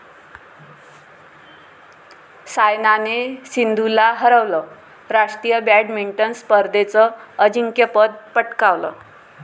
सायनाने सिंधूला हरवलं, राष्ट्रीय बॅडमिंटन स्पर्धेचं अजिंक्यपद पटकावलं